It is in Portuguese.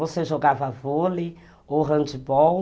Você jogava vôlei ou handbol.